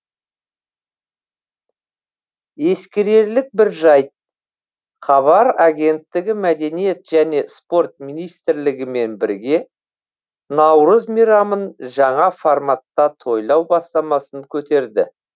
ескерерлік бір жайт хабар агенттігі мәдениет және спорт министрлігімен бірге наурыз мейрамын жаңа форматта тойлау бастамасын көтерді